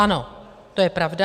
Ano, to je pravda.